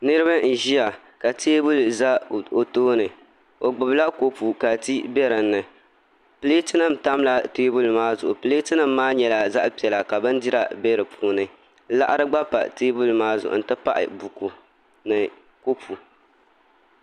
Niraba n ʒiya ka teebuli ʒɛ o tooni o gbubila kopu ka tii bɛ di puuni pileet nim tamla teebuli maa zuɣu pileet nim maa nyɛla zaɣ piɛla ka bindira bɛ di puuni laɣari gba pa teebuli maa zuɣu n ti pahi buku ni kopu